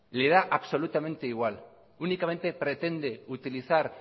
le da absolutamente igual únicamente pretende utilizar